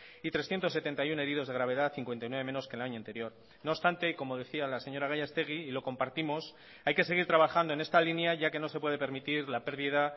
y trescientos setenta y uno heridos de gravedad cincuenta y nueve menos que el año anterior no obstante como decía la señora gallastegui y lo compartimos hay que seguir trabajando en esta línea ya que no se puede permitir la pérdida